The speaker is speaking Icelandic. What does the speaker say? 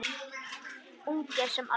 Ungir sem aldnir.